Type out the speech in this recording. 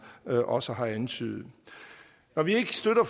også har antydet når vi ikke støtter